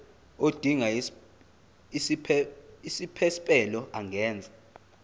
odinga isiphesphelo angenza